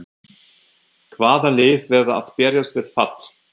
Hvaða lið verða að berjast við fall?